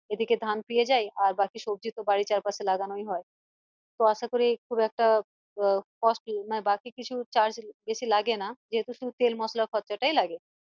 এদিকে ধান পেয়ে যাই আর বাকি সবজি তো বাড়ির চার পাশে লাগানোই হয় তো আশা করি খুব একটা আহ costly মানে বাড়তি কিছু charge বেশি লাগে না যেহেতু তেল মশলার খরচা টাই লাগে